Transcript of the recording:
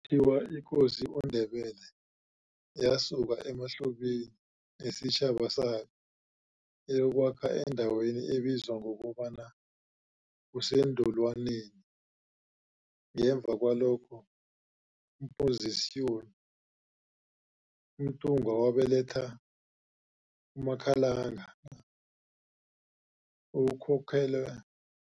thiwa ikosi uNdebele yasuka emaHlubini nesitjhaba sayo yayokwakha endaweni ebizwa ngokobana kuseNdolwaneni. Ngemva kwalokho kompozisyon umNtungwa wabeletha uMkhalangana, okukholelwa